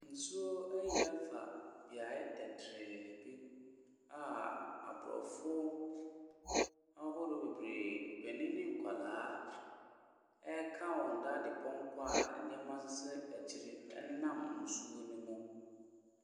Nsuo ayiri afa beaeɛ tɛtrɛɛ bi a aborɔfoɔ ahodoɔ bebree, mpanin ne nkwadaa ɛreka wɔn dadepɔnkɔ a nneɛma sisi akyire nam nsuo ne mu.